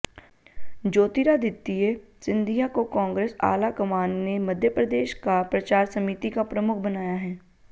ज्योतिरादित्य सिंधिया को कांग्रेस आलाकमान ने मध्य प्रदेश का प्रचार समिति का प्रमुख बनाया है